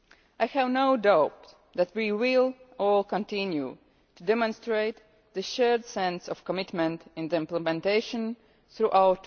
I have no doubt that we will all continue to demonstrate the shared sense of commitment and implementation throughout